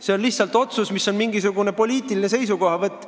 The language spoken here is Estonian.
See on lihtsalt otsus, mis on mingisugune poliitiline seisukohavõtt.